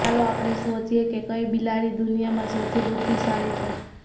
ચાલો આપણે શોધીએ કે કઈ બિલાડી દુનિયામાં સૌથી બુદ્ધિશાળી છે